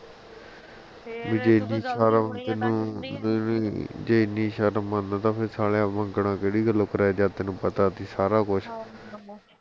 ਜੇ ਇੰਨੀ ਸ਼ਰਮ ਮੰਨਦਾ ਫੇਰ ਸਾਲਿਆ ਮੰਗਣਾ ਕਿਹੜੀ ਗੱਲੋਂ ਕਰਾਇਆ ਜਦ ਤੈਨੂੰ ਪਤਾ ਸੀ ਸਾਰਾ ਕੁੱਛ